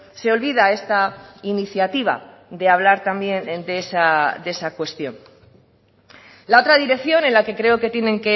se olvida esta iniciativa de hablar también de esa cuestión la otra dirección en la que creo que tienen